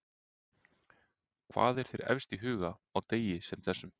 Hvað er þér efst í huga á degi sem þessum?